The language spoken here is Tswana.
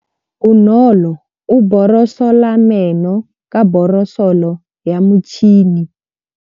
Bonolô o borosola meno ka borosolo ya motšhine.